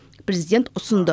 президент ұсынды